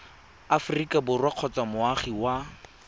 aforika borwa kgotsa moagi wa